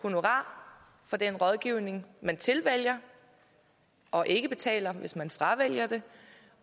honorar for den rådgivning man tilvælger og ikke betaler hvis man fravælger det